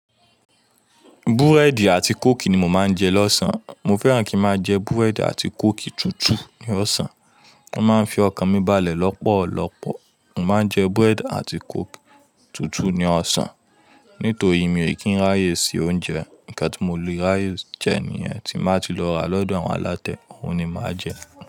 Búrẹ́dì àti kóòkì ni mo máa ń jẹ lọ́sàn-án. Mo fẹ́ràn kí máa jẹ búrẹ́dì àti kóòkì tútù ní ọ̀sán. Ó máa ń fi ọkàn mi balẹ̀ lọ́pọ̀lọpọ̀. Mo máa ń jẹ búrẹ́dì àti kóòkì tútù ní ọ̀sán. Nítorí mi ò kí n ráyè se oúnjẹ. Nkan tí mo lè ráyè jẹ níyẹn, tí máa ti lọ rà lọ́dọ̀ àwọn alátẹ, òun ni màá jẹ.